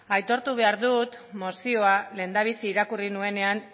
aitortu behar dut mozioa lehendabizi irakurri nuenean